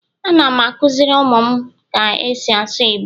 Anam akuziri umum ka esi asu igbo